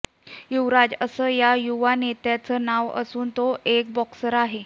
युवराज असं या युवा नेत्याचं नाव असून तो एक बॉक्सर आहे